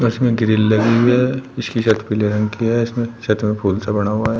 इसमें ग्रील लगी हुई है इसकी छत पीले रंग का है इसमें छत में फूल सा बना हुआ हैं।